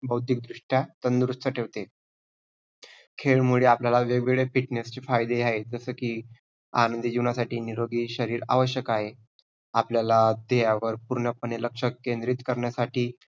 बौद्धिकदृष्ट्या तंदुरुस्त ठेवते. खेळमुळे आपल्याला वेग-वेगळे fitness चे फायदे आहेत. जसे की आनंदी जीवनसाठी निरोगी शरीर आवश्यक आहे. आपल्याला देहावर पूर्णपणे लक्ष्य केंद्रीत करण्यासाठी